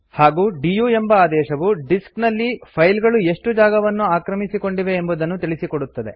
ಹಾಗೂ ಡಿಯು ಎಂಬ ಆದೇಶವು ಡಿಸ್ಕ್ ನಲ್ಲಿ ಫೈಲ್ ಗಳು ಎಷ್ಟು ಜಾಗವನ್ನು ಆಕ್ರಮಿಸಿಕೊಂಡಿವೆ ಎಂಬುದನ್ನು ತಿಳಿಸಿಕೊಡುತ್ತದೆ